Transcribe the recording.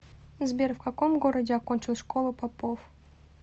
сбер в каком городе окончил школу попов